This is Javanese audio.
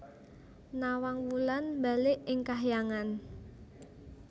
Nawang Wulan mbalik ing kahyangan